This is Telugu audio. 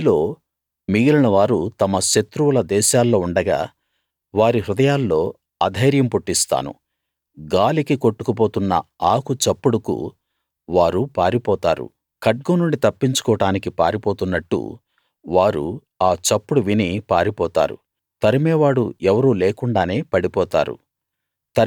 మీలో మిగిలినవారు తమ శత్రువుల దేశాల్లో ఉండగా వారి హృదయాల్లో అధైర్యం పుట్టిస్తాను గాలికి కొట్టుకుపోతున్న ఆకు చప్పుడుకు వారు పారిపోతారు ఖడ్గం నుండి తప్పించుకోడానికి పారిపోతున్నట్టు వారు ఆ చప్పుడు విని పారిపోతారు తరుమేవాడు ఎవరూ లేకుండానే పడిపోతారు